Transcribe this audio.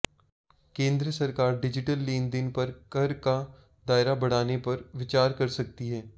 केंद्र सरकार डिजिटल लेनदेन पर कर का दायरा बढ़ाने पर विचार कर सकती है